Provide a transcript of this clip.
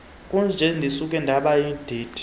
kunje ndisuke ndabayindindi